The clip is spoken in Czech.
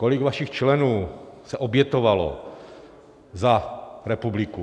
Kolik vašich členů se obětovalo za republiku?